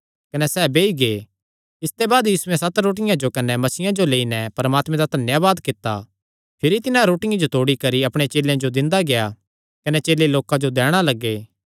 कने तिन्हां सत रोटियां जो कने मच्छियां जो लेआ धन्यावाद करी नैं तोड़या कने अपणे चेलेयां जो दिंदा गेआ कने चेले लोकां जो